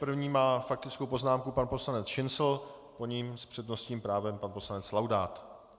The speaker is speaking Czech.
První má faktickou poznámku pan poslanec Šincl, po něm s přednostním právem pan poslanec Laudát.